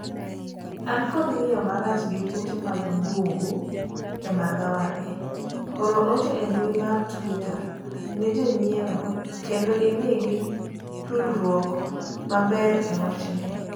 an kod ng'iyo marach gi kute mag bungu e magawa ni, or ote e mbui mar twita ne jonyiewo kendo imigi tudruok maber e wachni